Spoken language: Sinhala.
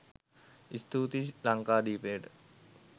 ස්තූතියි ලංකාදීපයට.